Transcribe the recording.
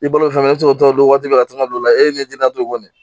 I bolo fɛn bɛ se k'o tɔɔrɔ don waati bɛɛ ka taa ka don o la e ni ne tina to kɔni